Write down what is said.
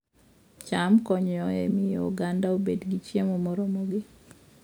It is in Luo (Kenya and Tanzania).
cham konyo e miyo oganda obed gi chiemo moromogi